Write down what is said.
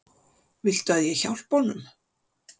Viltu að ég hjálpi honum?